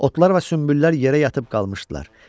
Otlar və sümbüllər yerə yatıb qalmışdılar.